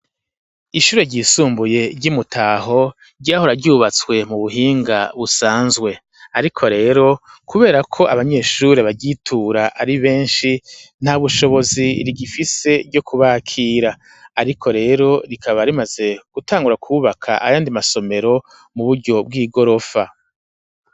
Ishure ryisumbuye ryi Mutaho ryahora ryubatswe mu buhinga busanzwe ariko rero kuberako abanyeshuri baryitura ari beshi ntabushobozi rigifise ryo ku bakira, ariko rero rikaba rimaze gutangura ku baka ayandi masomero mu buryo bw'igorofa.